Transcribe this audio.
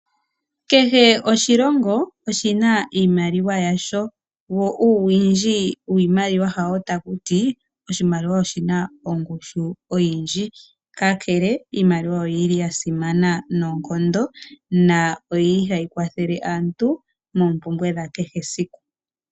Kehe oshilongo oshina iimaliwa yasho, wo uuwindji wiimaliwa hawo takuti oshimaliwa oshina ongushu oyindji. Kakele iimaliwa oyili yasimana noonkondo na oyili hayi kwathele aantu moompumbwe dhakehe esiku.